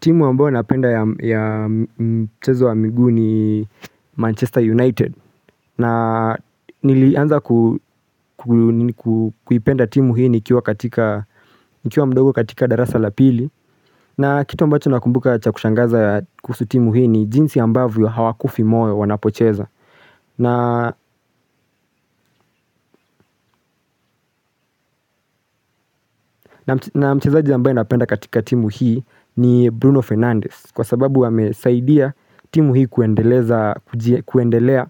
Timu ambayo napenda ya mchezo wa miguu ni Manchester United. Na nilianza kuipenda timu hii nikiwa katika mdogo katika darasa la pili. Na kitu ambacho nakumbuka cha kushangaza ya kuhusu timu hii ni jinsi ambavyo hawakufi moyo wanapocheza. Na mchezaji ambayo napenda katika timu hii ni Bruno Fernandes. Kwa sababu amesaidia timu hii kuendeleza kuendelea